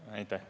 Aitäh!